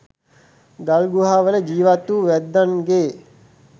ගල්ගුහාවල ජීවත් වූ වැද්දන්ගේ